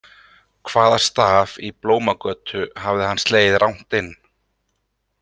Hvaða staf í Blómagötu hafði hann slegið rangt inn?